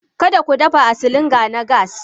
Kada ku dafa da silinda na gas!